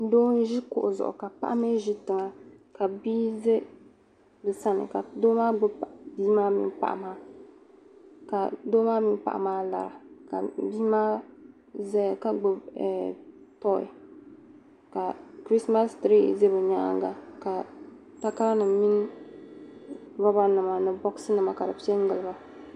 Doo n ʒi kuɣu zuɣu ka paɣa mi ʒi tiŋa kaa bia za bi sani ka doo maa gbubi bia maa mini paɣa maa ka doo maa mini paɣa maa lara ka bia ma zaya ka gbubi toy ka "christ mass" "tree" za bi nyaanga ka takara nim min "robber" nima ni "box" nimavka bi pe doya